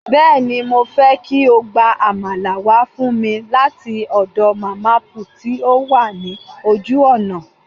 Bẹ́ẹ̀ni, mo fẹ́ kí o gba Àmàlà wá fún mi láti ọ̀dọ̀ màmá put tí ó wà ní ojú ọ̀nà